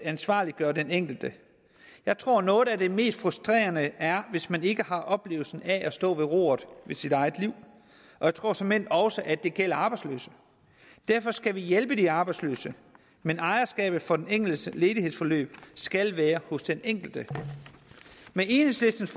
ansvarliggør den enkelte jeg tror at noget af det mest frustrerende er hvis man ikke har oplevelsen af at stå ved roret i sit eget liv og jeg tror såmænd også at det gælder arbejdsløse derfor skal vi hjælpe de arbejdsløse men ejerskabet for den enkeltes ledighedsforløb skal være hos den enkelte med enhedslistens